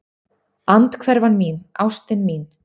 Andhverfan mín, ástin mín.